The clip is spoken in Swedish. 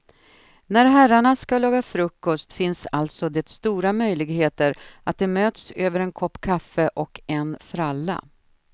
När herrarna ska laga frukost finns alltså det stora möjligheter att de möts över en kopp kaffe och en fralla.